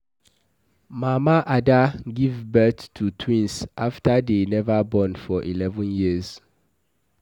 Mama Ada give birth to twins after dey never born for eleven years.